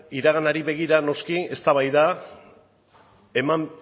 iraganari begira noski eztabaida eman